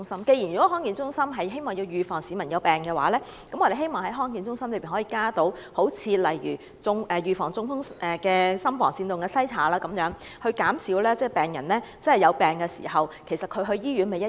既然康健中心是為了預防市民患病，我們希望康健中心可以加入例如預防中風的心房顫動篩查這類服務，減少市民因患病到醫院求診的需要。